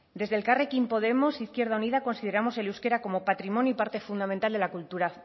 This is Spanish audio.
desde elkarrekin podemos izquierda unida consideramos el euskera como patrimonio y parte fundamental de la